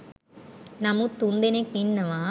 නමුත් තුන් දෙනෙක් ඉන්නවා